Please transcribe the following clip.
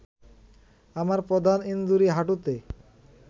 আমার প্রধান ইনজুরি হাঁটুতে